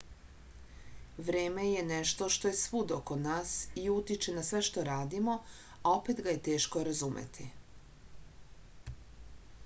vreme je nešto što je svud oko nas i utiče na sve što radimo a opet ga je teško razumeti